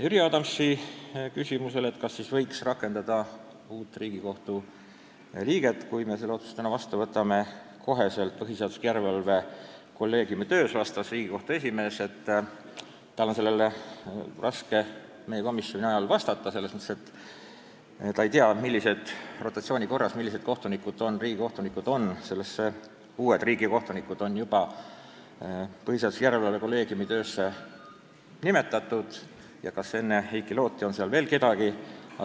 Jüri Adamsi küsimusele, kas uut Riigikohtu liiget, kui me selle otsuse täna vastu võtame, võiks kohe rakendada põhiseaduslikkuse järelevalve kolleegiumi töös, vastas Riigikohtu esimees, et tal on sellele raske meie komisjoni istungil vastata, kuna ta ei tea, millised riigikohtunikud on rotatsiooni korras põhiseaduslikkuse järelevalve kolleegiumi koosseisu nimetatud ja kas enne Heiki Looti on seal veel kedagi, kes pole selles töös osalenud.